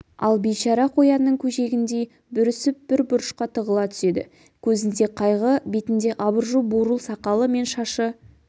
ал бейшара қоянның көжегіндей бүрісіп бір бұрышқа тығыла түседі көзінде қайғы бетінде абыржу бурыл сақалы мен шашы